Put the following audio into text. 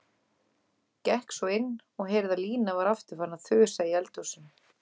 Gekk svo inn og heyrði að Lína var aftur farin að þusa í eldhúsinu.